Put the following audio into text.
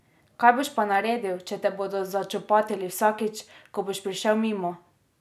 Kaj boš pa naredil, če te bodo začopatili vsakič, ko boš prišel mimo?